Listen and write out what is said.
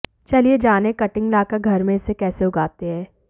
चलिए जाने कटिंग लाकर घर में इसे कैसे उगाते हैं